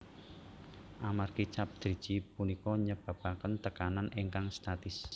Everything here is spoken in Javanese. Amargi cap driji punika nyebabaken tekanan ingkang statis